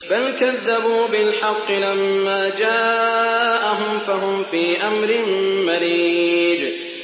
بَلْ كَذَّبُوا بِالْحَقِّ لَمَّا جَاءَهُمْ فَهُمْ فِي أَمْرٍ مَّرِيجٍ